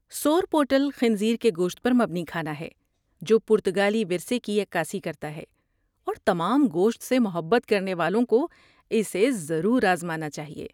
سورپوٹل خنزیر کے گوشت پر مبنی کھانا ہے جو پرتگالی ورثے کی عکاسی کرتا ہے اور تمام گوشت سے محبت کرنے والوں کو اسے ضرور آزمانا چاہئے۔